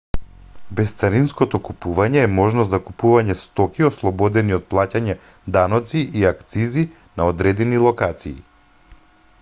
бесцаринското купување е можност за купување стоки ослободени од плаќање даноци и акцизи на одредени локации